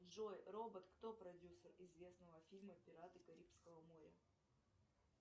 джой робот кто продюсер известного фильма пираты карибского моря